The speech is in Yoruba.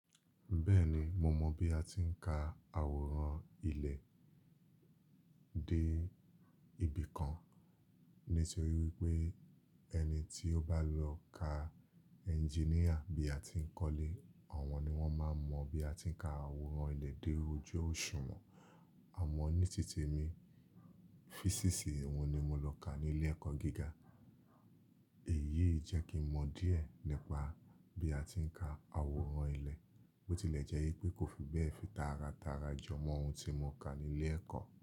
Bẹ́ẹ̀ni, mo mọ̀ bí a ti ń ka àwòrán ilẹ̀ dé ibì kan. Nítorí wípé ẹni tí ó bá lọ ka ẹnjíníà bí a ti ń kọ́lé, àwọn ni wọ́n máa ń mọ bí a ti ń ka àwòrán ilẹ̀ dé ojú òṣùwọ̀n. Àmọ́ ní tí temi, físíìsì, uhun ni mo lọ ká ní ilé ẹ̀kọ́ gíga. Èyí jẹ́ ki mọ díẹ̀ nípa bí a ti ń ka àwòrán ilẹ̀. Bo tilẹ̀ jẹ́ wípé kó fi bẹ́ẹ̀ fi tara tara jọ mọ ohun tí mo ka ní ilé ẹ̀kọ́.